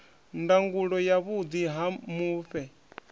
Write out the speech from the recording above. ndangulo ya vhuḓi ha mufhe